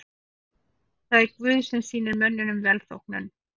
Það er Guð sem sýnir mönnum velþóknun.